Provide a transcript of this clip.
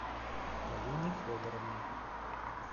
полине федоровне